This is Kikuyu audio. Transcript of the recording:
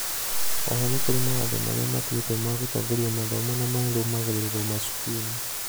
oho nĩ kũri mawatho maria matuĩtwo ma gũtongoria mathomo na marũmagĩrĩrwo macukuruinĩ.